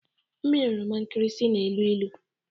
Mmiri oroma nkịrịsị na-elu ilu